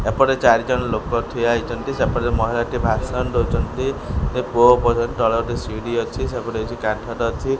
ଏପଟେ ଚାରି ଜଣ ଲୋକ ଠିଆ ହେଇଛନ୍ତି ସେପଟେ ମହିଳା ଟି ଭାଷଣ ଦଉଚନ୍ତି ତଳେ ଗୋଟେ ସିଢି ଅଛି ସେପଟେ କିଛି କାଠ ର ଅଛି।